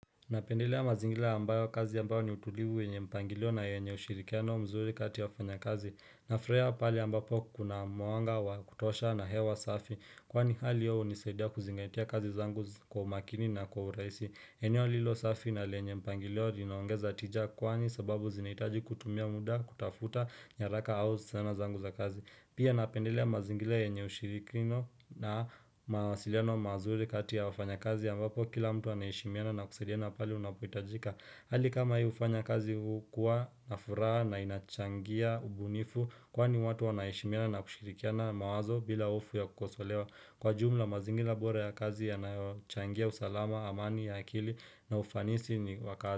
Napendelea mazingira ambayo kazi ambayo ni utulivu yenye mpangilio na yenye ushirikiano mzuri kati ya wafanya kazi. Nafurahia pahali ambapo kuna mwanga wa kutosha na hewa safi. Kwani hali hio hunisaidia kuzingaitia kazi zangu kwa makini na kwa uraisi. Eneo lilo safi na lenye mpangilio vinaongeza tija kwani sababu zinaitaji kutumia muda kutafuta nyaraka au sana zangu za kazi. Pia napendelea mazingira yenye ushirikino na mawasiliano mazuri kati ya wafanyakazi ambapo kila mtu anaheshimiana na kusaidiana pale unapohitajika. Hali kama hii ufanya kazi huu kuwa na furaha na inachangia ubunifu kwani watu wanaheshimiana na kushirikiana mawazo bila hofu ya kukosolewa. Kwa jumla mazingira bora ya kazi yanayochangia usalama amani ya akili na ufanisi ni wa kazi.